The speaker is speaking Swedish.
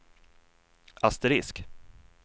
asterisk